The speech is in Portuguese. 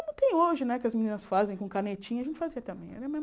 Como tem hoje, né, que as meninas fazem com canetinha, a gente fazia também. Era a mesma